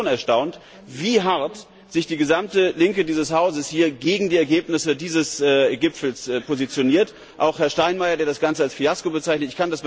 Ich bin nämlich schon erstaunt, wie hart sich die gesamte Linke dieses Hauses hier gegen die Ergebnisse dieses Gipfels positioniert, auch Herr Steinmeier, der das Ganze als Fiasko bezeichnet.